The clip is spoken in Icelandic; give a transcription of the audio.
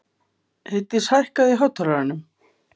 Heiðdís, hækkaðu í hátalaranum.